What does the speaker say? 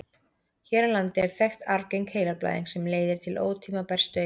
hér á landi er þekkt arfgeng heilablæðing sem leiðir til ótímabærs dauða